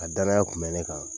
A danaya kun bɛ ne kan